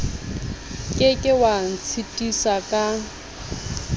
ke ke wa ntshitisa ka